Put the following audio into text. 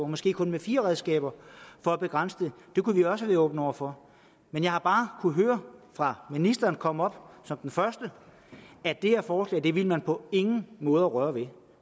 måske kun med fire redskaber for at begrænse det det kunne vi også have været åbne over for men jeg har bare kunnet høre fra ministeren kom op som den første at det her forslag ville man på ingen måde røre ved